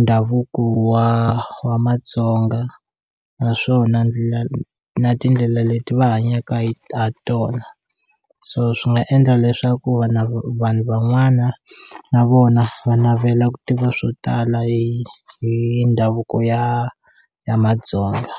ndhavuko wa wa matsonga naswona ndlela na tindlela leti va hanyaka ha tona so swi nga endla leswaku vana vanhu van'wana na vona va navela ku tiva swo tala hi hi ndhavuko ya ya matsonga.